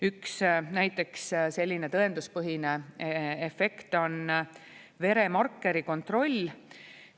Üks näiteks selline tõenduspõhine efekt on veremarkeri kontroll.